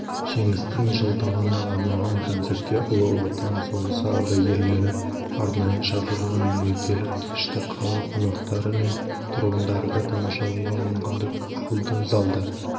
жеңістің жылдығына арналған концертке ұлы отан соғысы ардагерлері арнайы шақырылған мекерелік кешті қала қонақтары мен тұрғындары да тамашалауға мүмкіндік алды залда